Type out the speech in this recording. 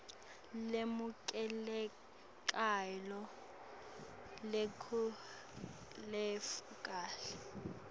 lemukelekako leyetfuleke kahle